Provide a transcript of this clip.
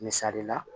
Misali la